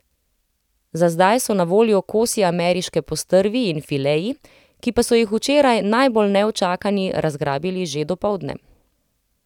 Za zdaj so na voljo kosi ameriške postrvi in fileji, ki pa so jih včeraj najbolj neučakani razgrabili že dopoldne.